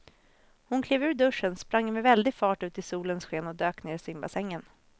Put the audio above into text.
Hon klev ur duschen, sprang med väldig fart ut i solens sken och dök ner i simbassängen.